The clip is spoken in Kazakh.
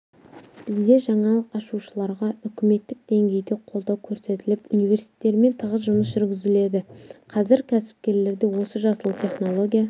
бізде жаңалық ашушыларға үкіметтік деңгейде қолдау көрсетіліп университтермен тығыз жұмыс жүргізіледі қазір кәсіпкерлерде осы жасыл технология